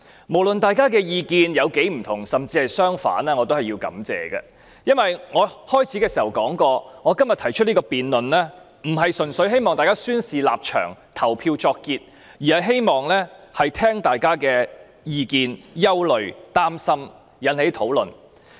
無論大家的意見有多不同，甚至相反，我也要說聲感謝，因為我開始發言時已說，我今天動議這項議案並非純粹希望大家宣示立場，表決作結，而是希望聆聽大家的意見、憂慮、擔心，從而引起討論。